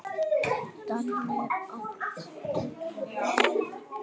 Danni, áttu tyggjó?